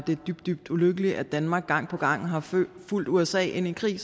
det er dybt dybt ulykkeligt at danmark gang på gang har fulgt usa ind i krig